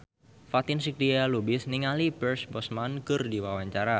Fatin Shidqia Lubis olohok ningali Pierce Brosnan keur diwawancara